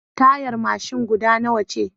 Tayar mashin guda nawa ce